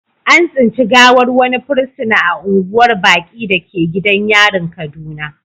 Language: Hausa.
An tsinci gawar wani fursuna a unguwar baƙi da ke gidan yarin kaduna.